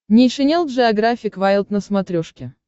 нейшенел джеографик вайлд на смотрешке